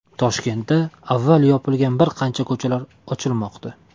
Toshkentda avval yopilgan bir qancha ko‘chalar ochilmoqda.